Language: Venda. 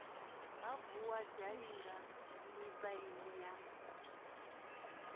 ha vuwa zhalinga mipaini ya